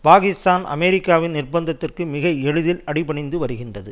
பாகிஸ்தான் அமெரிக்காவின் நிர்பந்தத்திற்கு மிக எளிதில் அடி பணிந்து வருகின்றது